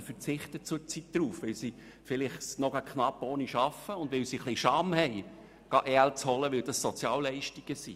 Sie verzichten zurzeit darauf, weil sie es noch knapp ohne schaffen, und weil sie sich ein bisschen schämen, EL zu beziehen, denn es handelt sich dabei um Sozialleistungen.